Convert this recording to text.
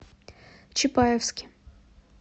чапаевске